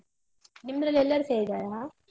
ನಿಮ್ದ್ರಲ್ ಎಲ್ಲರೂ ಸೇರಿದಾರಾ?